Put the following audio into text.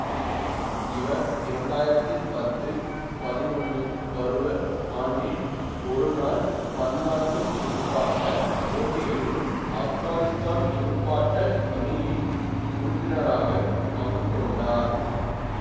இவர் இரண்டாயிரத்தி பத்து பதினொன்னு பருவ ஆண்டில் ஒருநாள் பன்னாட்டு துடுப்பாட்ட போட்டிகளிலும் ஆப்கானித்தான் துடுப்பாட்ட அணியின் உறுப்பினராக பங்குகொண்டார்